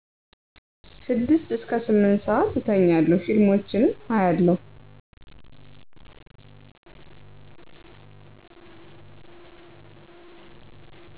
6-8ስዓት እተኛለሁ ፊልሞችን አያለው